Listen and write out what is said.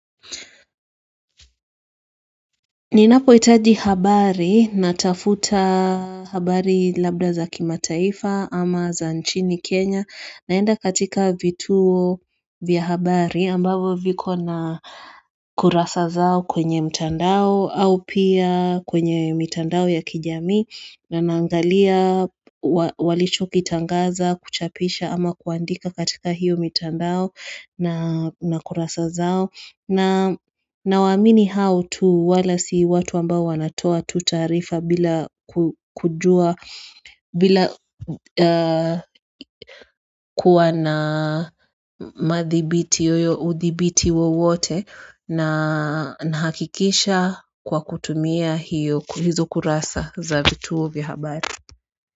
Ninapohitaji habari natafuta habari labda za kimataifa ama za nchini Kenya, naenda katika vituo vya habari ambavyo viko na kurasa zao kwenye mtandao au pia kwenye mitandao ya kijamii naangalia. Walichokitangaza, kuchapisha ama kuandika katika hiyo mitandao. Na kurasa zao na waamini hao wala watu ambao wanatoa taarifa bila kujua. Bila kuwa na uthibiti wowote na hakikisha kwa kutumia hizo kurasa za vituo vya habari.